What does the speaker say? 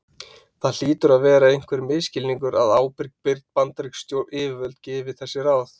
Það hlýtur að vera einhver misskilningur að ábyrg bandarísk yfirvöld gefi þessi ráð.